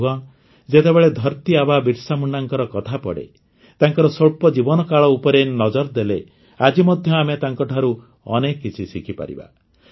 ବନ୍ଧୁଗଣ ଯେତେବେଳେ ଧରତୀ ଆବା ବିର୍ସାମୁଣ୍ଡାଙ୍କ କଥା ପଡ଼େ ତାଙ୍କର ସ୍ୱଳ୍ପ ଜୀବନକାଳ ଉପରେ ନଜର ଦେଲେ ଆଜି ମଧ୍ୟ ଆମେ ତାଙ୍କଠାରୁ ଅନେକ କିଛି ଶିଖିପାରିବା